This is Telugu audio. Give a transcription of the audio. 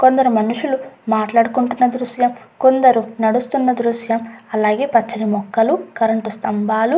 కొందరు మనషులు మాట్లాడుకుంటున్న దృశ్యం కొందరు నడుస్తున్న దృశ్యం అలాగే పచ్చని మొక్కలు కరెంటు స్తంబాలు --